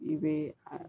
I bɛ a